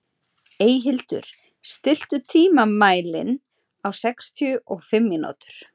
Eyhildur, stilltu tímamælinn á sextíu og fimm mínútur.